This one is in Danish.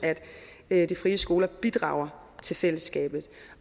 at de frie skoler bidrager til fællesskabet